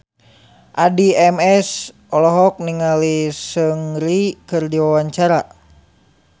Addie MS olohok ningali Seungri keur diwawancara